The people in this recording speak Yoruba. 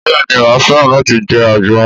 Bẹ́ẹ̀ni màá fẹ́ràn láti jẹ́ àgbọn